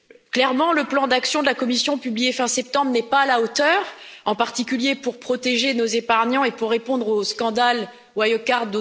Clairement, le plan d'action de la Commission publié fin septembre n'est pas à la hauteur, en particulier, pour protéger nos épargnants et pour répondre au scandale Wirecard.